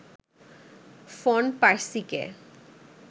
von পার্সিকে